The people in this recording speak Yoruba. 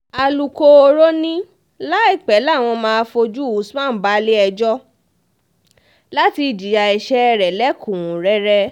alūkkóró ni láìpẹ́ làwọn máa fojú usman balẹ̀-ẹjọ́ láti jìyà ẹsẹ̀ rẹ̀ lẹ́kùn-únrẹ́rẹ́